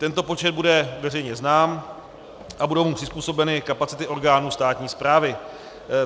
Tento počet bude veřejně znám a budou mu přizpůsobeny kapacity orgánů státní správy.